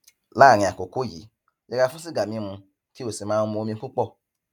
láàárín àkókò yìí yẹra fún sìgá mímu kí o sì máa mu omi púpọ